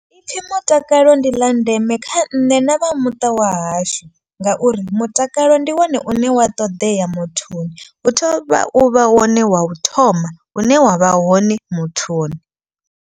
I pfhi mutakalo ndi ḽa ndeme kha nṋe na vhamuṱa wahashu. Ngauri mutakalo ndi wone une wa ṱoḓea muthuni hu tovha u vha wone wa u thoma hune wa vha hone muthuni.